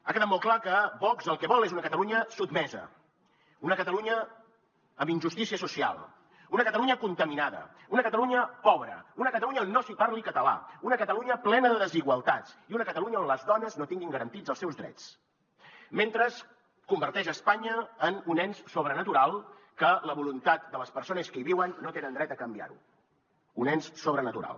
ha quedat molt clar que vox el que vol és una catalunya sotmesa una catalunya amb injustícia social una catalunya contaminada una catalunya pobra una catalunya on no s’hi parli català una catalunya plena de desigualtats i una catalunya on les dones no tinguin garantits els seus drets mentre converteix espanya en un ens sobrenatural que la voluntat de les persones que hi viuen no tenen dret a canviar ho un ens sobrenatural